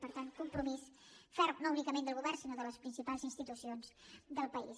per tant compromís ferm no únicament del govern sinó de les principals institucions del país